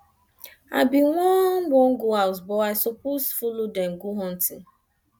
i bin wan wan go house but i suppose follow dem go hunting